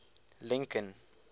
lincoln